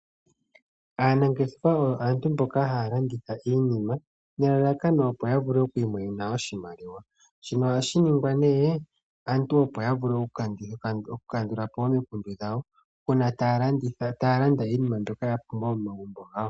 Aanangeshefa oyo aantu mboka haya landitha iinima nelalakano opo ya vule okwiimonena oshimaliwa. Shino ohashi ningwa opo aantu ya vulu okukandula po omikundu, uuna taya landa iinima mbyoka ya pumbwa momagumbo gawo.